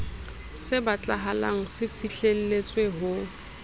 se batlahala se fihlelletswe ho